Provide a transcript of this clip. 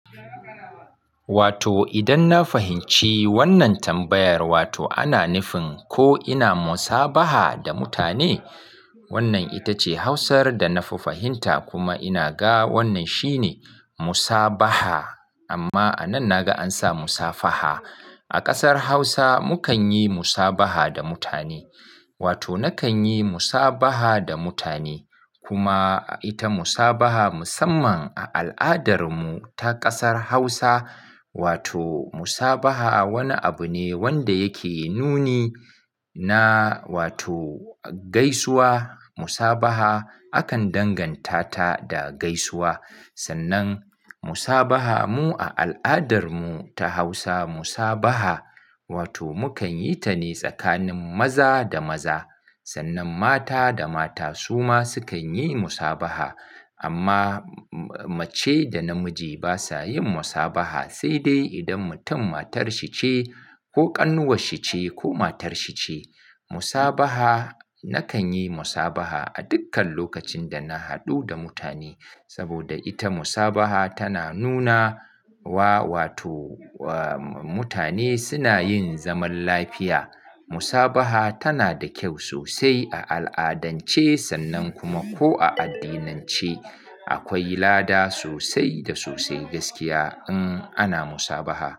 Wato idan na fahimci wannan tambayar, wato ana nufin ko ina musabaha da mutane. Wannan ita ce Hausar da na fahimta kuma ina ga wannan shine musabaha. Amma a nan na ga an sa musafaha. A kasar Hausa mu kan yi musabaha da mutane. Wato na kan yi musabaha da mutane. Kuma ita musabaha musamman a al'adar mu ta kasar Hausa, wato musabaha wani abu ne wanda yake nuni na wato gaisuwa. Musabaha akan danganta ta da gaisuwa. Sannan musabaha mu a al'adar mu ta Hausa, musabaha wato mu kan yi ta ne tsakanin maza da maza. Sannan mata da mata su ma su kan yi musabaha. Amma mace da namiji ba sa yin musabaha. Sai dai idan mutum matar shi ce ko ƙannuwar shi ce ko matar shi ce. Musabaha, na kan yi musabaha a dukkan lokacin da na haɗu da mutane. Saboda ita musabaha tana nuna wa wato mutane suna yin zaman lafiya. Musabaha tana da kyau sosai a al'adance sannan kuma ko a addinance. Akwai lada sosai da sosai gaskiya in ana musabaha.